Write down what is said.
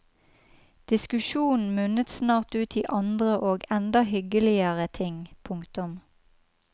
Diskusjonen munnet snart ut i andre og enda hyggeligere ting. punktum